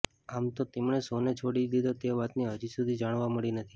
આમ તો તેમણે શો ને છોડી દીધો તે વાતની હજી સુધી જાણવા મળી નથી